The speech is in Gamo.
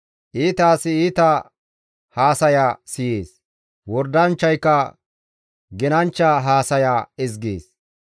Iita asi iita haasaya siyees; wordanchchayka genanchcha haasaya ezgees.